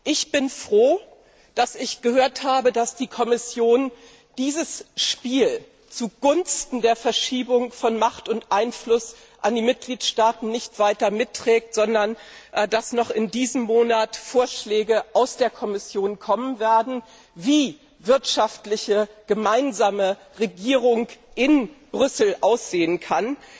Ich bin froh zu hören, dass die Kommission dieses Spiel zugunsten der Verschiebung von Macht und Einfluss an die Mitgliedstaaten nicht weiter mitträgt, sondern dass noch in diesem Monat Vorschläge aus der Kommission kommen werden, wie eine gemeinsame Wirtschaftsregierung in Brüssel aussehen kann.